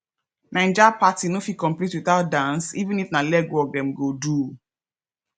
naija party no fit complete without dance even if na legwork dem go do